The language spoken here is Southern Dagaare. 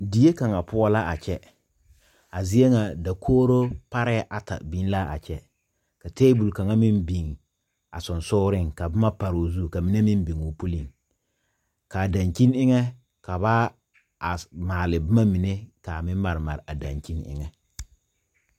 Deɛ kanga pou la a kye a zeɛ nga dakouri paree ata bing la a kye ka tabol kanga meng bing a sunsuuring ka buma pari ɔ ka mene meng binguu puli kaa dankyeni enga ka ba maale buma mene kaa meng mari mari a dankyeni enga.